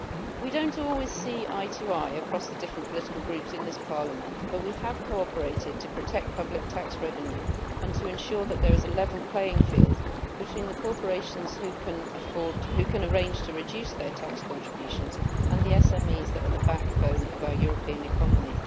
We do not always see eye to eye across the different political groups in this Parliament, but we have cooperated to protect public tax revenue and to ensure that there is a level playing field between the corporations who can arrange to reduce their tax contributions and the SMEs that are the backbone of our European economy.